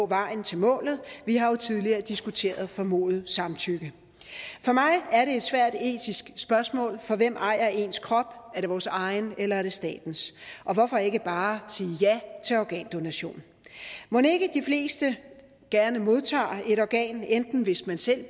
vejen til målet vi har jo tidligere diskuteret formodet samtykke for mig er det et svært etisk spørgsmål for hvem ejer ens krop er det vores egen eller er det statens og hvorfor ikke bare sige ja til organdonation mon ikke de fleste gerne modtager et organ enten hvis man selv